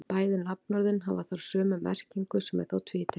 Bæði nafnorðin hafa þar sömu merkingu sem er þá tvítekin.